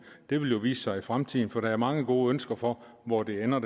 det vil jo vise sig i fremtiden for der er mange gode ønsker for hvor det her ender